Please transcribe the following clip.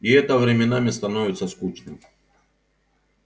и это временами становится скучным